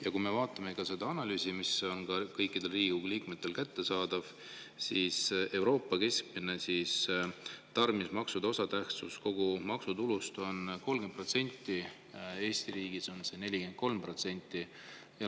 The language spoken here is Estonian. Ja kui me vaatame seda analüüsi, mis on kõikidele Riigikogu liikmetele kättesaadav, siis Euroopas keskmiselt on tarbimismaksude osatähtsus kogu maksutulus 30%, Eesti riigis on see 43%.